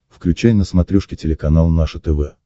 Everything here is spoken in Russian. включай на смотрешке телеканал наше тв